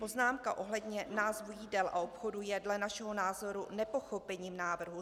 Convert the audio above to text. Poznámka ohledně názvu jídel a obchodů je dle našeho názoru nepochopením návrhu.